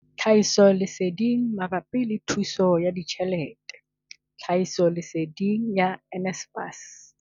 Tlhahisoleseding mabapi le thuso ya ditjhelete, tlhahisoleseding ya NSFAS.